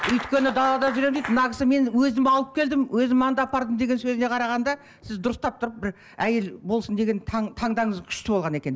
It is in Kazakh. өйткені далада жүремін дейді мына кісі мен өзім алып келдім өзім анда апардым деген сөзіне қарағанда сіз дұрыстап тұрып бір әйел болсын деген таңдауыңыз күшті болған екен